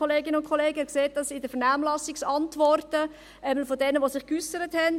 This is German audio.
Sie sehen dies in den Vernehmlassungsantworten von denjenigen, die sich geäussert haben.